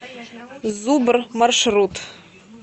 зубр маршрут